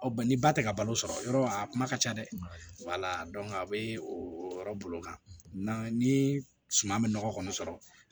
ni ba tɛ ka balo sɔrɔ yɔrɔ a kuma ka ca dɛ a bɛ o yɔrɔ bolo kan ni suman bɛ nɔgɔ kɔni sɔrɔ